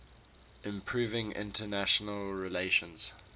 improving international relations